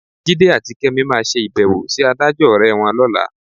Jídé àti Kẹ́mi máa ṣe ìbẹ̀wò sí adájọ́ ọ̀rẹ́ wọn lọ́la.